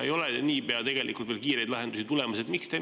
Nii pea kiireid lahendusi veel tulemas ei ole.